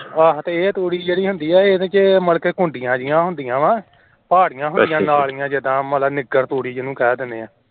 ਤੇ ਇਹ ਜਿਹੜੀ ਤੂੜੀ ਹੁੰਦੀ ਏ ਇਹਦੇ ਵਿਚ ਘੁੰਡੀਆਂ ਜਿਹੀਆਂ ਹੁੰਦੀਆਂ ਆ ਮਤਲਬ ਨਿੱਗਰ ਤੂੜੀ ਜਿਹਨੂੰ ਕਹਿ ਦੇਣੇ ਆ